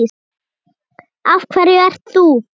Af hverju ert þú?